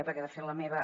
perquè de fet la meva